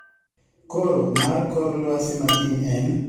Koro mar kor lwasi makiny en